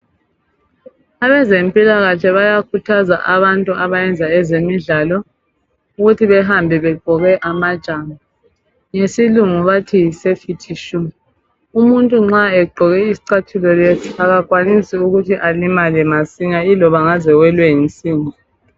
Abezempilakahle bayakhuthaza abantu abayenza ezemidlalo ukuthi behambe begqoke amajambo ngesilungu bathi yisafety shoe. Umuntu nxa egqoke isicathulo lesi akakwanisi ukuthi elimale masinya iloba engaze ewelwe yinsimbi.